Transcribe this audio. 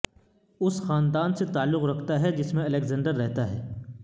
اس خاندان سے تعلق رکھتا ہے جس میں الیگزینڈر رہتا ہے